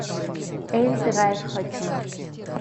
эль драйв хочу